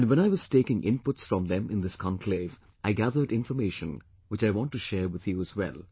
And when I was taking inputs from them in this conclave, I gathered information which I want to share with you as well